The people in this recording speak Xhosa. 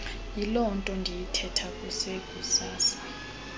yilonto ndiyithetha kusekusasa